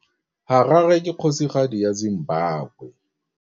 Harare ke kgosigadi ya Zimbabwe.